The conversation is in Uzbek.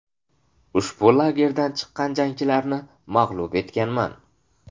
Ushbu lagerdan chiqqan jangchilarni mag‘lub etganman.